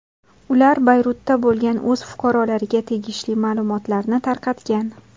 Ular Bayrutda bo‘lgan o‘z fuqarolariga tegishli ma’lumotlarni tarqatgan.